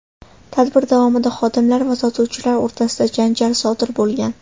Tadbir davomida xodimlar va sotuvchilar o‘rtasida janjal sodir bo‘lgan.